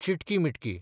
चिटकी मिटकी